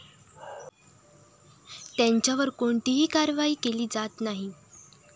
त्यांच्यावर कोणतीही कारवाई केली जात नाही.